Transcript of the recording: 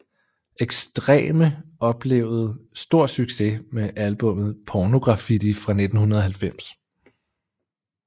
Extreme oplevede stor succes med albummet Pornograffitti fra 1990